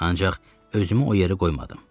Ancaq özümü o yerə qoymadım.